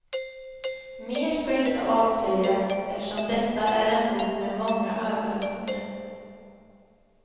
Mer ska inte avslöjas, eftersom detta är en bok med många överraskningar.